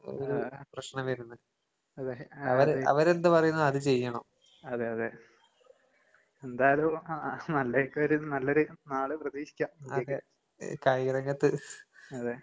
അതെ. അതെയതെ. എന്തായാലും അഹ് ആഹ് നല്ലതൊക്കെ വരും നല്ലൊരു നാള് പ്രതീക്ഷിക്കാം ഇന്ത്യക്ക്. അതെ.